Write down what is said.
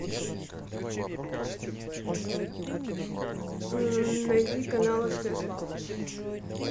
найди канал стс лав